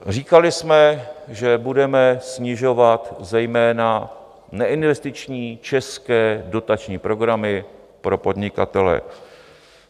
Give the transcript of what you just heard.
Říkali jsme, že budeme snižovat zejména neinvestiční české dotační programy pro podnikatele.